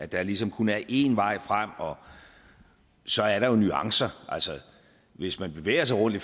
der ligesom kun er én vej frem så er der jo nuancer hvis man bevæger sig rundt i